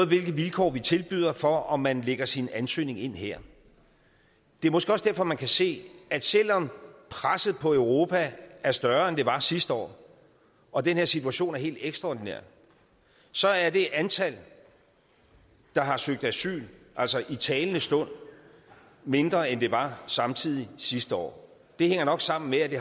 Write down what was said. vilkår vi tilbyder noget for om man lægger sin ansøgning ind her det er måske også derfor man kan se at selv om presset på europa er større end det var sidste år og den her situation er helt ekstraordinær så er det antal der har søgt asyl altså i talende stund mindre end det var samme tid sidste år det hænger nok sammen med at det